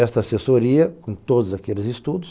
Esta assessoria, com todos aqueles estudos,